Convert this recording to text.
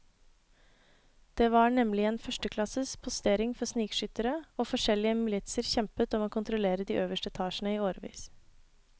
Det var nemlig en førsteklasses postering for snikskyttere, og forskjellige militser kjempet om å kontrollere de øverste etasjene i årevis.